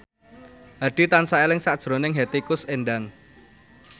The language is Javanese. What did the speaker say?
Hadi tansah eling sakjroning Hetty Koes Endang